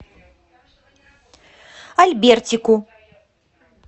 альбертику